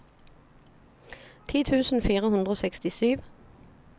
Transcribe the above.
ti tusen fire hundre og sekstisju